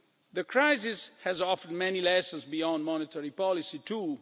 The crisis has offered many lessons beyond monetary policy